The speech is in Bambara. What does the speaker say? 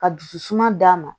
Ka dusu suma d'a ma